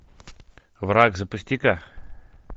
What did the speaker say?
враг запусти ка